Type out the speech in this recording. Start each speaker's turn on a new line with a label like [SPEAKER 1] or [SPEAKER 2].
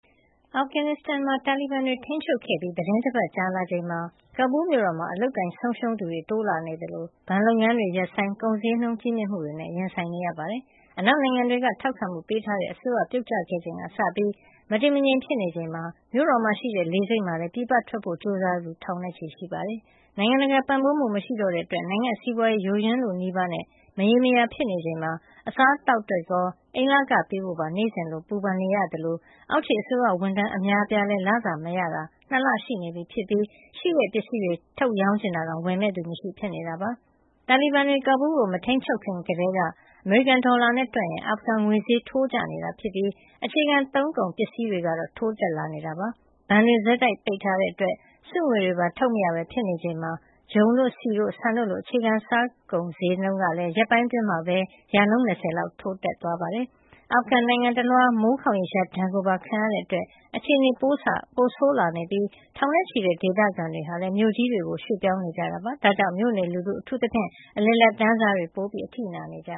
[SPEAKER 1] အာဖဂန်နစ်စတန်မှာ တာလီဘန်တွေ ထိန်းချုပ်ခဲ့ပြီးသီတင်းတပတ်ကြာလာချိန်မှာ ကဘူးမြို့တော်မှာ အလုပ်အကိုင် ဆုံးရှုံးသူတွေ တိုးလာနေသလို၊ ဘဏ်လုပ်ငန်းတွေ ရပ်ဆိုင်း၊ ကုန်ဈေးနှုန်း ကြီးမြင့်မှုတွေနဲ့ ရင်ဆိုင်နေကြရပါတယ်။ အနောက်နိုင်ငံတွေက ထောက်ခံမှုပေးထားတဲ့ အစိုးရပြုတ်ကျခဲ့ချိန်ကစပြီး မတည်မငြိမ်ဖြစ်နေချိန်မှာ မြို့တော်မှာရှိတဲ့ လေဆိပ်မှာလည်း ပြည်ပထွက်ဖို့ ကြိုးစားသူ ထောင်နဲ့ချီရှိနေပါတယ်။ နိုင်ငံတကာ ပံ့ပိုးမှုမရှိတော့တဲ့ အတွက် နိုင်ငံ့စီးပွါးရေး ယိုယွင်းလုနီးပါးနဲ့ မရေရာဖြစ်နေချိန်မှာ အစားအသောက်အတွက်ရော အိမ်လခပေးဖို့ပါ နေ့စဉ်လိုလို ပူပင်နေကြရသလို အောက်ခြေအစိုးရဝန်ထမ်း အများအပြားလည်း လစာမရတာ ၂ လရှိနေပြီဖြစ်ပြီး ရှိတဲ့ပစ္စည်းလေးတွေ ရောင်းချင်တာတောင် ဝယ်မယ့်သူ မရှိပဲ ဖြစ်နေတာပါ။ တာလီဘန်တွေ ကာဘူးလ်ကိုမထိန်းချုပ်ခင်ကတည်းက အမေရိကန်ဒေါ်လာနဲ့တွက်ရင် အာဖဂန်ငွေဈေးထိုးကျနေတာ ဖြစ်ပြီး အခြေခံသုံးကုန် ပစ္စည်းဈေးတွေကတော့ ထိုးတက်လာနေတာဖြစ်ပါတယ်။ ဘဏ်တွေ ဆက်ပိတ်ထားတဲ့အတွက် စုငွေတွေပါ ထုတ်မရပဲ ဖြစ်နေချိန်မှာပဲ ဂျုံတို့၊ ဆီတို့ ဆန်တို့လို အခြေခံစားကုန်ဈေးကလည်း ရက်ပိုင်းအတွင်းမှာပဲ ရာခိုင်နှုန်း ၂၀ လောက် ထိုးတက်သွားတာပါ။ အာဖဂန်နစ်စတန်နိုင်ငံတလွှားမှာလည်း မိုးခေါင်ရေရှား ဒဏ်ကိုပါ ခံလာရတာကြောင့် အခြေနေပိုဆိုးလာခဲ့ရပြီး ထောင်နဲ့ချီတဲ့ဒေသခံတွေကလည်း အသက်ရှင်သန်နိုင်ရေးအတွက် မြို့ကြီးတွေကို ရွှေ့ပြောင်းနေကြတာဖြစ်ပါတယ်။ ဒါကြောင့် မြို့နေလူထုတွေ အထူးသဖြင့် အလယ်အလတ်တန်းစားတွေက ပိုပြီး အထိနာနေကြ